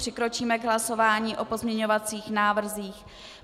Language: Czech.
Přikročíme k hlasování o pozměňovacích návrzích.